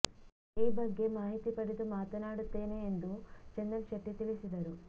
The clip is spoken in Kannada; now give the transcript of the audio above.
ಈ ಬಗ್ಗೆ ಮಾಹಿತಿ ಪಡೆದು ಮಾತನಾಡುತ್ತೇನೆ ಎಂದು ಚಂದನ್ ಶೆಟ್ಟಿ ತಿಳಿಸಿದರು